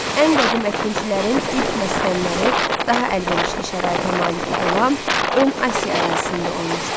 Ən qədim əkinçilərin ilk məskənləri daha əlverişli şəraitə malik olan ön Asiya ərazisində olmuşdu.